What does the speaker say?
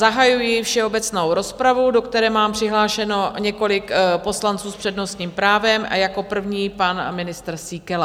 Zahajuji všeobecnou rozpravu, do které mám přihlášeno několik poslanců s přednostním právem a jako první pan ministr Síkela.